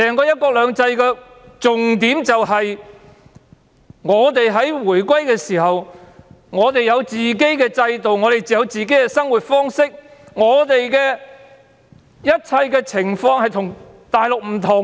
"一國兩制"的重點便是在回歸後，香港市民有自己的制度和生活方式，一切情況與內地不同。